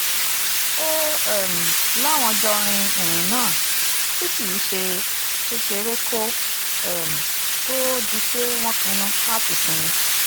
ó um láwọn jọ rin ìrìn náà tí kì í ṣe kékeré kó um tóó di pé wọ́n pinnu láti sinmi